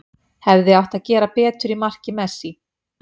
Hefði átt að gera betur í marki Messi.